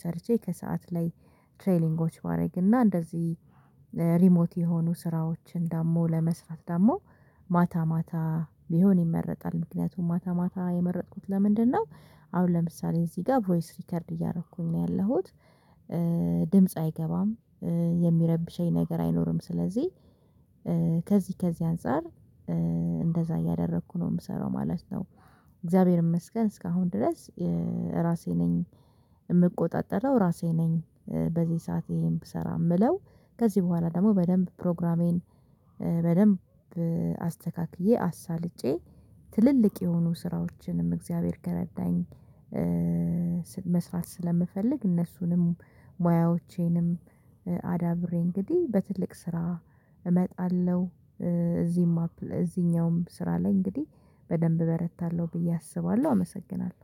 ሰርቼ ከሰአት ላይ ትሬሊንጎች ባደርግና እንደዚህ ሪሞት የሆኑ ስራዎችን ደግሞ ለመስራት ደግሞ ማታ ማታ ቢሆን ይመረጣል። ምክንያቱም ማታ ማታ የመረጥኩት ለምንድን ነው? አሁን ለምሳሌ እዚህ ጋር ቮይስ ሪከርድ እያረኩኝ ነው ያለሁት። ድምጽ አይገባም የሚረብሸኝ ነገር አይኖርም። ስለዚህ ከዚህ ከዚህ አንፃር እንደዛ እያደረኩ ነው የምሰራው ማለት ነው። እግዚአብሔር ይመስገን እስካሁን ድረስ። ራሴ ነኝ። እምቆጣጠረው ራሴ ነኝ በዚህ ሰዓት የሄን ብሰራ የምለው። ከዚህ በኋላ ደግሞ በደንብ ፕሮግራሜን በደንብ አስተካክዬ አሳልጬ ትልልቅ የሆኑ ስራዎችንም እግዚአብሔር ከረዳኝ። መስራት ስለምፈልግ እነሱንም ሙያዎቼንም አዳብሬ እንግዲህ በትልቅ ስራ እመጣለሁ። እዚህም አፕ እዚህኛውም ስራ ላይ እንግዲህ በደንብ እበረታለሁ ብዬ አስባለሁ አመሰግናለሁ